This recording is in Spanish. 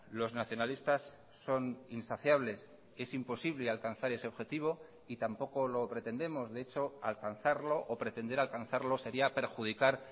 los nacionalistas son insaciables es imposible alcanzar ese objetivo y tampoco lo pretendemos de hecho alcanzarlo o pretender alcanzarlo sería perjudicar